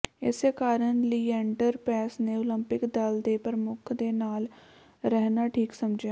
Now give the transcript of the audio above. ਇਸੇ ਕਾਰਨ ਲੀਐਂਡਰ ਪੇਸ ਨੇ ਓਲੰਪਿਕ ਦਲ ਦੇ ਪਰਮੁੱਖ ਦੇ ਨਾਲ ਰਹਿਣਾ ਠੀਕ ਸਮਝਿਆ